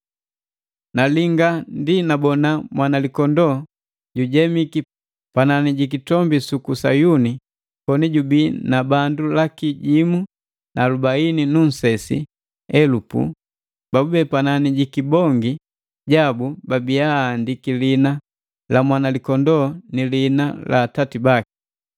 Nalinga ndi nabona Mwanalikondoo lijemiki panani jikitombi suku Sayuni koni jubi na bandu laki jimu na alubaini nu nunsesi elupu babube panani ja pikibongi jabu babiya aandiki liina la Mwanalikondoo ni liina la Atati baki.